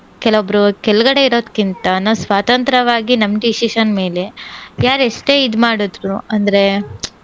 ಕೆಲವೊಬ್ರ ಕೆಳ್ಗಡೆ ಇರೋದ್ಕಿಂತ ನಾವ್ ಸ್ವಾತಂತ್ರ್ಯವಾಗಿ ನಮ್ decision ಮೇಲೆ ಯಾರ್ ಎಷ್ಟೇ ಇದ್ ಮಾಡಿದ್ರೂ ಅಂದ್ರೆ,